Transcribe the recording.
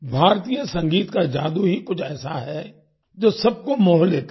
भारतीय संगीत का जादू ही कुछ ऐसा है जो सबको मोह लेता है